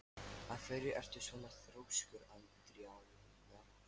Af hverju ertu svona þrjóskur, Andríana?